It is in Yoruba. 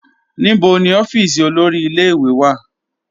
Níbọ̀ ni ọ̀fíísì olórí ìlẹ̀-ìwé wà?